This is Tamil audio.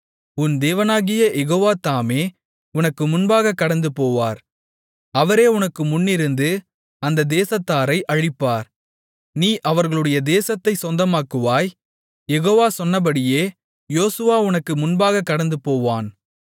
உன் தேவனாகிய யெகோவா தாமே உனக்கு முன்பாகக் கடந்துபோவார் அவரே உனக்கு முன்னிருந்து அந்த தேசத்தாரை அழிப்பார் நீ அவர்களுடைய தேசத்தைச் சொந்தமாக்குவாய் யெகோவா சொன்னபடியே யோசுவா உனக்கு முன்பாகக் கடந்துபோவான்